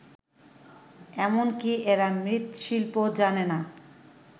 এমনকি এরা মৃৎশিল্পও জানে না